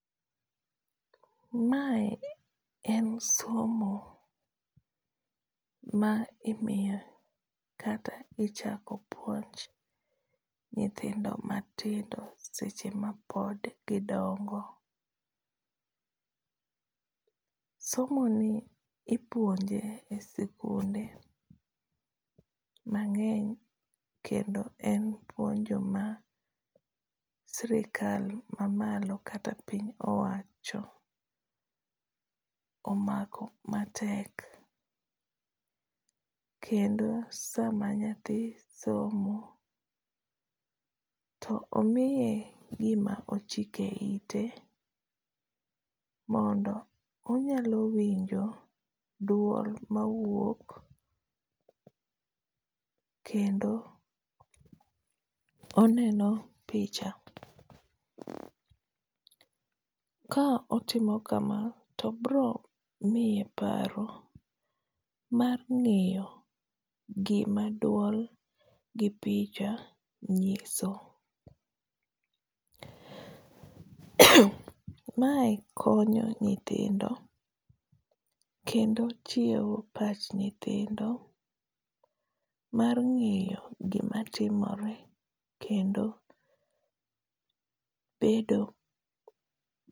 Mae en somo ma imiyo kata ichako puonj nyithindo matindo seche ma pod gidongo. Somo ni ipuonje e sikunde mangény, kendo en puonjo ma sirkal ma malo kata piny owacho omako matek. Kendo sama nyathi somo to omiye gima ochike ite, mondo onyalo winjo duol ma wuok kendo oneno picha. Ka otimo kama, to biro miye paro mar ngéyo gima duol gi picha nyiso. Mae konyo nyithindo kendo chiewo pach nyithindo mar ngéyo gima timore kendo bedo.